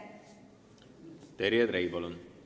Terje Trei, palun!